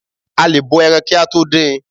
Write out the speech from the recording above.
A lè bọ ẹran kí a tó dín in